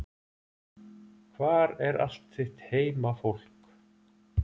Hvar er allt þitt heimafólk?